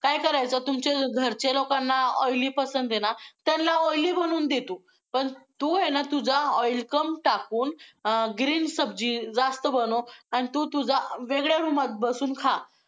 काय करायचं, तुमच्या घरच्या लोकांना oily पसंद आहे ना, त्यांना oily बनवून दे तू! पण तू आहे ना, तुझं oil कम टाकून अं green सब्जी जास्त बनव आणि तू तुझं वेगळ्या room त बसून खा.